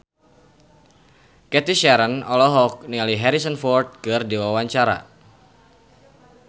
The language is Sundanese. Cathy Sharon olohok ningali Harrison Ford keur diwawancara